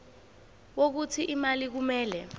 wokuthi imali kumele